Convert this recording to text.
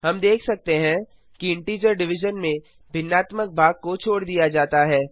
हम देख सकते हैं कि इंटीजर डिविजन में भिन्नात्मक भाग को छोड़ दिया जाता है